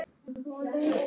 Sjáumst þá.